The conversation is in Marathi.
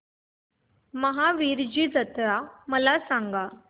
महावीरजी जत्रा मला सांग